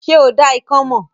Ṣé o dá ikán mọ̀?